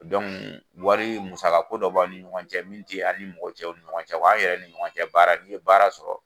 wari musakako dɔ b'a ni ɲɔgɔn cɛ min ti a ni mɔgɔ tɔw ni cɛ ɲɔgɔn cɛ aw yɛrɛ ni ɲɔgɔn cɛ baara n'i ye baara sɔrɔ